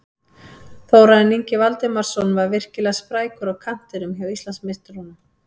Þórarinn Ingi Valdimarsson var virkilega sprækur á kantinum hjá Íslandsmeisturunum.